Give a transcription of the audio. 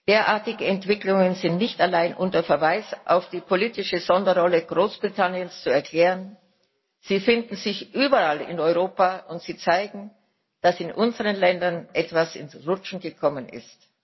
Derartige Entwicklungen sind nicht allein unter Verweis auf die politische Sonderrolle Großbritanniens zu erklären sie finden sich überall in Europa, und sie zeigen, dass in unseren Ländern etwas ins Rutschen gekommen ist.